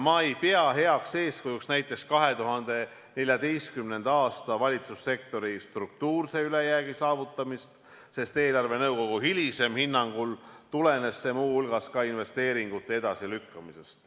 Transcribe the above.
Ma ei pea heaks eeskujuks näiteks 2014. aasta valitsussektori struktuurse ülejäägi saavutamist, sest eelarvenõukogu hilisemal hinnangul tulenes see muu hulgas investeeringute edasilükkamisest.